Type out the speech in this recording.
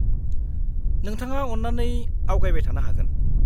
-नोंथाङा अन्नानै आवगायबाय थानो हागोन।